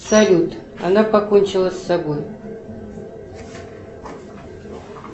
салют она покончила с собой